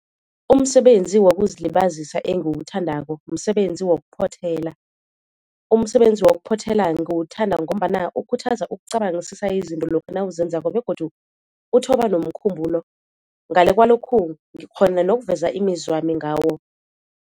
Umsebenzi wokuzilibazisa engiwuthandako msebenzi wokuphothela. Umsebenzi wokuphothela ngiwuthanda ngombana ukhuthaza ukucabangisisa izinto lokha nawuzenzako begodu uthoba nomkhumbulo. Ngale kwalokhu ngikghona nokuveza imizwami ngawo.